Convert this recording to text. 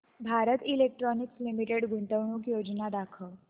Bharat electronics limited गुंतवणूक योजना दाखव